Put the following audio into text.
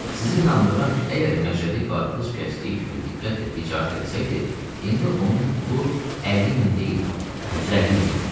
Sizi inandırıram ki, əgər Məşədi qarpız kəsdiyi kimi diqqətlə ticarət eləsəydi, indi onun pulu 50 min deyildi, 150 min idi.